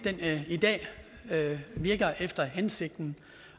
i dag virker efter hensigten